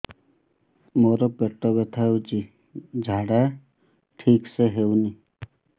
ମୋ ପେଟ ବଥା ହୋଉଛି ଝାଡା ଠିକ ସେ ହେଉନି